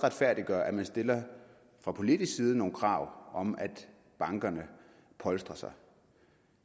retfærdiggøre at man stiller fra politisk side nogle krav om at bankerne polstrer sig